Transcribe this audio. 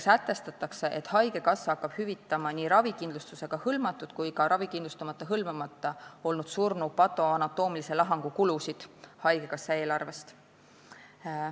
Sätestatakse, et haigekassa hakkab hüvitama nii ravikindlustusega hõlmatud kui ka ravikindlustusega hõlmamata olnud surnu patoanatoomilise lahangu kulusid haigekassa eelarvest.